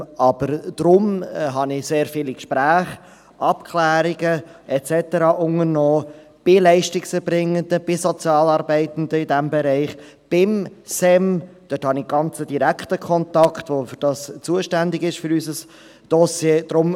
Aber deshalb habe ich sehr viele Gespräche, Abklärungen und so weiter unternommen, bei Leistungserbringenden, bei Sozialarbeitenden in diesem Bereich, beim Staatssekretariat für Migration (SEM), wo ich einen ganz direkten Kontakt habe, der für dieses Dossier zuständig ist.